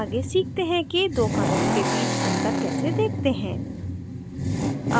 आगे सीखते हैं कि दो commits के बीच अंतर कैसे देखते हैं